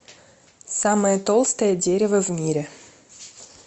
самое толстое дерево в мире